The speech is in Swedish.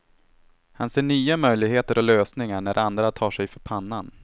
Han ser nya möjligheter och lösningar när andra tar sig för pannan.